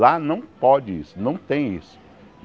Lá não pode isso, não tem isso.